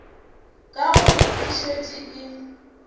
ka gore e šetše e